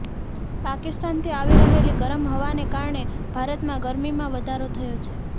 પાકિસ્તાનથી આવી રહેલી ગરમ હવાને કારણે ભારતમાં ગરમીમાં વધારો થયો છે